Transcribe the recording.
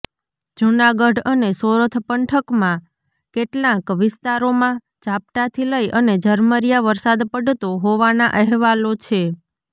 જૂનાગઢ અને સોરઠ પંથકમાં કેટલાંક વિસ્તારોમાં ઝાપટાથી લઈ અને ઝરમરીયા વરસાદ પડતો હોવાનાં અહેવાલો છે